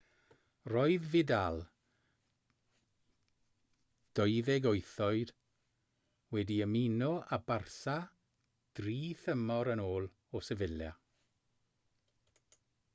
roedd vidal 28 oed wedi ymuno â barça dri thymor yn ôl o sevilla